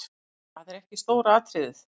Það er ekki stóra atriðið.